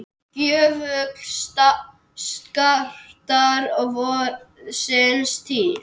gjöful skartar vorsins tíð.